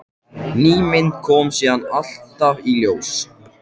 Ný mynd kom síðan alltaf í ljós.